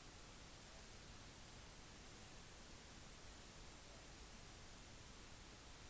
hindring i redningsaksjonen